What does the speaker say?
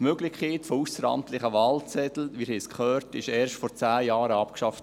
Die Möglichkeit der ausseramtlichen Wahlzettel – wir haben es gehört – wurde erst vor zehn Jahren abgeschafft.